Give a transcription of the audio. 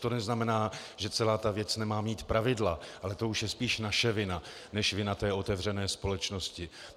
To neznamená, že celá ta věc nemá mít pravidla, ale to už je spíš naše vina než vina té otevřené společnosti.